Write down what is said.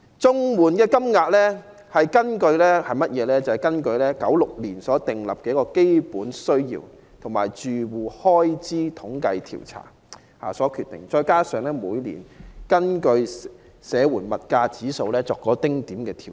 綜援金額是根據1996年的"基本需要開支預算"及"住戶開支統計調查"訂定，再加上每年按社會保障援助物價指數所作的丁點調整。